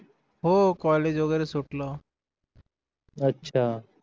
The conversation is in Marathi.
हो कॉलेज वैगेरे सुटलं